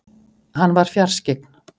Hann var fjarskyggn.